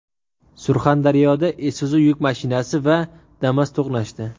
Surxondaryoda Isuzu yuk mashinasi va Damas to‘qnashdi.